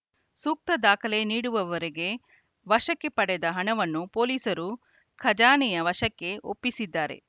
ಸೂಕ್ತ ದಾಖಲೆ ನೀಡುವವರೆಗೆ ವಶಕ್ಕೆ ಪಡೆದ ಹಣವನ್ನು ಪೊಲೀಸರು ಖಜಾನೆಯ ವಶಕ್ಕೆ ಒಪ್ಪಿಸಿದ್ದಾರೆ